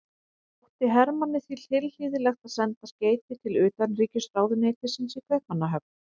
Þótti Hermanni því tilhlýðilegt að senda skeyti til utanríkisráðuneytisins í Kaupmannahöfn.